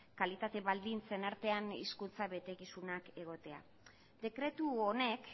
kalitate baldintzen artean hizkuntza betekizunak egotea dekretu honek